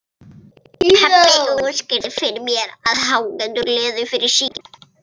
Pabbi útskýrði fyrir mér að áhangendur liðanna væru að syngja.